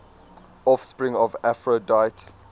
offspring of aphrodite